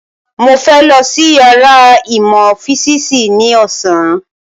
Mo fẹ́ lọ sí yàrá ìmọ̀ físìsì ní ọ̀sán